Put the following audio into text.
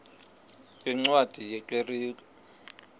yeencwadi ye kerk